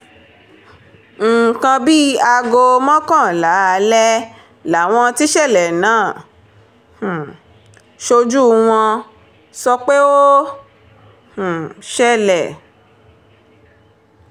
nǹkan bíi aago mọ́kànlá alẹ́ làwọn tíṣẹ̀lẹ̀ náà um ṣojú wọn sọ pé ó um ṣẹlẹ̀